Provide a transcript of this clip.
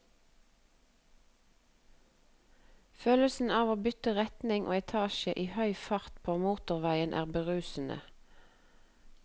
Følelsen av å bytte retning og etasje i høy fart på motorveien er berusende.